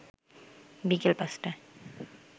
বিকেল ৫টায়